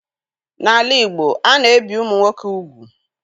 N'ala Igbo, a na-ebi ụmụ nwoke ugwu.